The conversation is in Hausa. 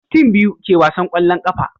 tim biyu ke wasan kwallon ƙafa